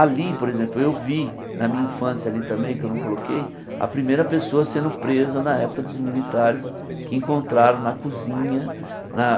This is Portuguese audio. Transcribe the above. Ali, por exemplo, eu vi na minha infância ali também, que eu não coloquei, a primeira pessoa sendo presa na época dos militares, que encontraram na cozinha na